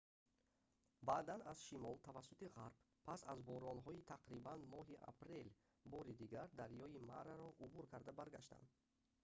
баъдан аз шимол тавассути ғарб пас аз боронҳои тақрибан моҳи апрел бори дигар дарёи мараро убур карда баргаштан